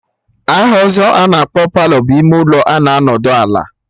Aha ọzọ a na-akpọ Palọ bụ ime ụlọ a na-anọdụ ala